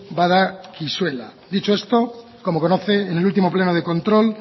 badakizula dicho esto como conoce en el último pleno de control